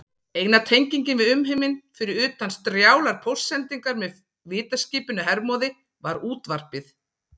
Eina tengingin við umheiminn, fyrir utan strjálar póstsendingar með vitaskipinu Hermóði, var útvarpið.